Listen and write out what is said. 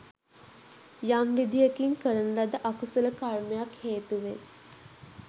යම් විදියකින් කරන ලද අකුසල කර්මයක් හේතුවෙන්